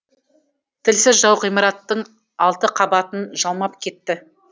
тілсіз жау ғимараттың алты қабатын жалмап кетті